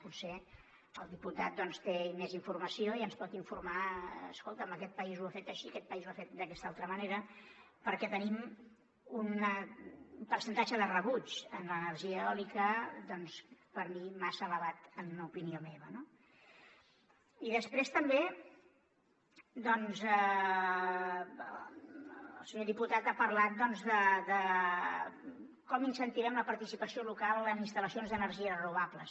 potser el diputat té més informació i ens pot informar escolta’m aquest país ho ha fet així aquest país ho ha fet d’aquesta altra manera perquè tenim un percentatge de rebuig a l’energia eòlica doncs per mi massa elevat en opinió meva no i després també doncs el senyor diputat ha parlat de com incentivem la participació local en instal·lacions d’energies renovables